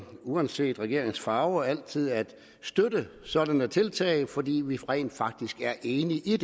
uanset regeringens farve altid at støtte sådanne tiltag fordi vi rent faktisk er enige i